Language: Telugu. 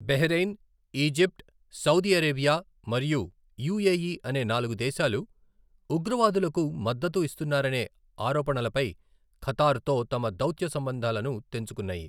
బహ్రెయిన్, ఈజిప్ట్, సౌదీ అరేబియా మరియు యుఎఇ అనే నాలుగు దేశాలు 'ఉగ్రవాదులకు' మద్దతు ఇస్తున్నారనే ఆరోపణలపై ఖతార్తో తమ దౌత్య సంబంధాలను తెంచుకున్నాయి.